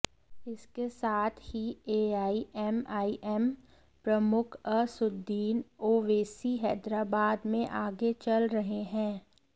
इसके साथ ही एआईएमआईएम प्रमुख असदुद्दीन ओवैसी हैदराबाद में आगे चल रहे हैं